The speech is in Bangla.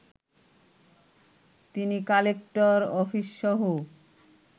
তিনি কালেক্টর অফিসসহ